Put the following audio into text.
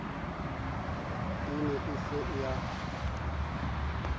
e ne e se ya